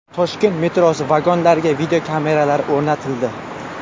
Toshkent metrosi vagonlariga videokameralar o‘rnatildi.